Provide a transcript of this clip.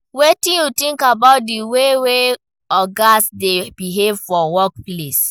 wetin you think about di way wey ogas dey behave for workplace?